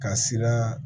Ka sira